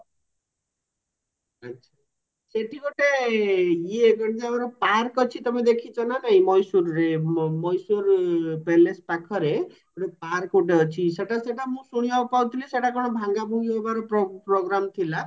ସେଠି ଗୋଟେ ଇଏ କଣ ତ ଆମର park ଅଛି ତମେ ଦେଖିଛ ନା ନାଇଁ ମଏଶ୍ଵରରେ ମଏଶ୍ଵର palace ପାଖରେ ଗୋଟେ park ଗୋଟେ ଅଛି ସେଟା ସେଟା ମୁଁ ଶୁଣିବାକୁ ପାଉଥିଲି ସେଟ କଣ ଭାଙ୍ଗା ଭୁଙ୍ଗି ହବାର program ଥିଲା